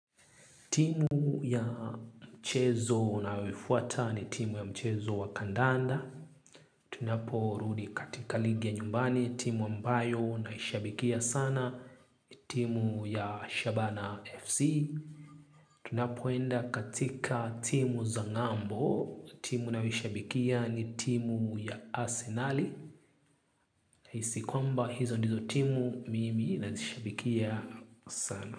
Timu ya mchezo unayoifuata ni timu ya mchezo wa kandanda. Tunaporudi katika ligi ya nyumbani, timu ambayo naishabikia sana, timu ya Shabana FC. Tunapoenda katika timu za ng'ambo, timu nayoishabikia ni timu ya Arsenal. Hisi kwamba hizo ndizo timu mimi nazishabikia sana.